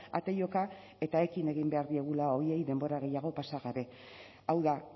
ate joka eta ekin egin behar diegula horiei denbora gehiago pasa gabe hau da